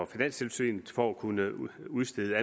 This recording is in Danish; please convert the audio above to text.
finanstilsynet for at kunne udstede